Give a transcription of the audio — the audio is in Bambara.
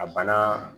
A bana